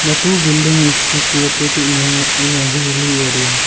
The two building is situated in a in a hilly area.